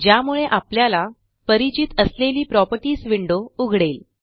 ज्यामुळे आपल्याला परिचित असलेली प्रॉपर्टीज विंडो उघडेल